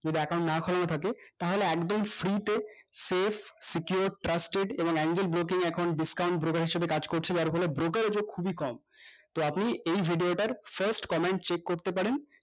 যদি account না হয়েও থাকে তাহলে একদম free তে safe secure trusted এবং angel broking এখন discount হিসেবে কাজ করছে যার ফলে brokel যোগ খুবই কম তো আপনি এই video টার first comment check করতে পারেন